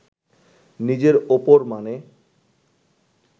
নিজের ওপর মানে